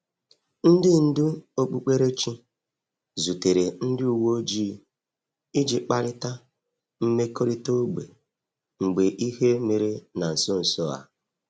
Ndị ndú okpukperechi zutere ndị uwe ojii iji kparịta mmekọrịta ógbè mgbe ihe mere na nso nso a.